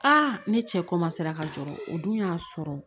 ne cɛ ka jɔrɔ o dun y'a sɔrɔ